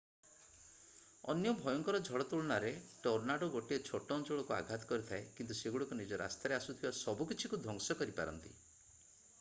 ଅନ୍ୟ ଭୟଙ୍କର ଝଡ଼ ତୁଳନାରେ ଟର୍ନାଡୋ ଗୋଟିଏ ଛୋଟ ଅଞ୍ଚଳକୁ ଆଘାତ କରିଥାଏ କିନ୍ତୁ ସେଗୁଡ଼ିକ ନିଜ ରାସ୍ତାରେ ଆସୁଥିବା ସବୁକିଛିକୁ ଧ୍ୱଂସ କରିପାରନ୍ତି